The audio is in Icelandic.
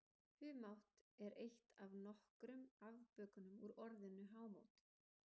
Humátt er eitt af nokkrum afbökunum úr orðinu hámót.